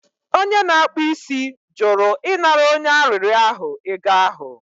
Onye na-akpụ isi jụrụ ịnara onye arịrịọ ahụ ego ahụ